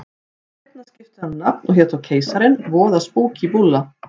Seinna skipti hann um nafn og hét þá Keisarinn, voða spúkí búlla.